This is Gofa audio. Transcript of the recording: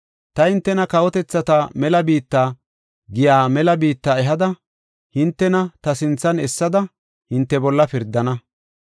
Ta hintena ‘kawotethata mela biitta’ giya mela biitta ehada, hintena ta sinthan essada, hinte bolla pirdana.